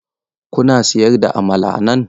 Kuna sayar da amala a nan?